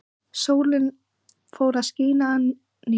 Sólin fór að skína að nýju.